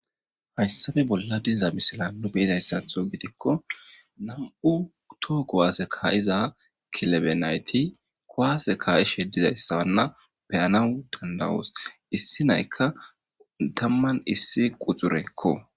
hayssafe bolla diza misila nu be'idayssatho gidikko nam7u too kowaase kaayiza kilebe nayti kowaase kaayishe dizayssabanna peyanawu dandawoos issi naykka tamman issi quxurekko